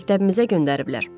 Məktəbimizə göndəriblər.